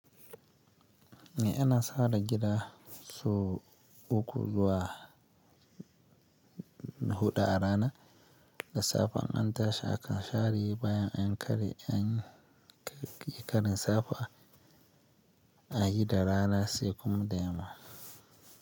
Eh ina sare gida sau uku zuwa huɗu a rana. Da safe in an tashi akan share bayan an yi ƙarin safe ayi da rana, sai kuma da yamma.